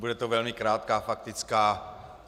Bude to velmi krátká faktická.